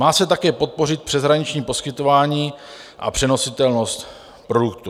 Má se také podpořit přeshraniční poskytování a přenositelnost produktu.